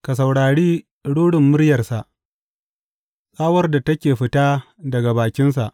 Ka saurari rurin muryarsa, tsawar da take fita daga bakinsa.